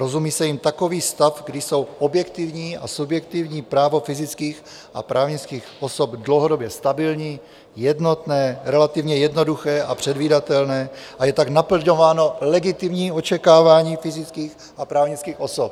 Rozumí se jím takový stav, kdy jsou objektivní a subjektivní právo fyzických a právnických osob dlouhodobě stabilní, jednotné, relativně jednoduché a předvídatelné a je tak naplňováno legitimní očekávání fyzických a právnických osob.